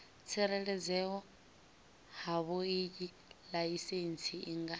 tsireledzea havhoiyi laisentsi i nga